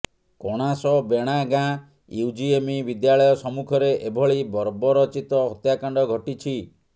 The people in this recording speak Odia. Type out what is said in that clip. କଣାସ ବେଣାଗାଁ ୟୁଜିଏମି ବିଦ୍ୟାଳୟ ସମ୍ମୁଖରେ ଏଭଳି ବର୍ବରଚିତ ହତ୍ୟାକାଣ୍ଡ ଘଟିଛି